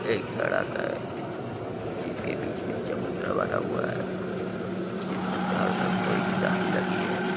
एक सड़क है जिसके बीचे में एक चबुतरा बना हुआ है जिसमें चारो तरफ लोहे की जाली लगी है।